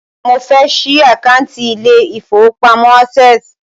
Mo fẹ́ ṣí àkántì ilé ìfọwọ́pamo Access.